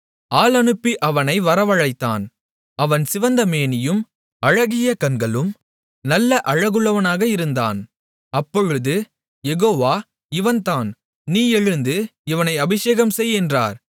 ஆள் அனுப்பி அவனை வரவழைத்தான் அவன் சிவந்த மேனியும் அழகிய கண்களும் நல்ல அழகுள்ளவனாக இருந்தான் அப்பொழுது யெகோவா இவன்தான் நீ எழுந்து இவனை அபிஷேகம்செய் என்றார்